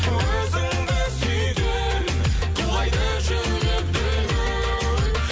өзіңді сүйген құлайды жүрек дүл дүл